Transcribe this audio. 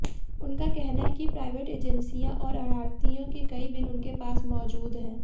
उनका कहना है कि प्राइवेट एजेंसियां और आढ़तियों के कई बिल उनके पास मौजूद हैं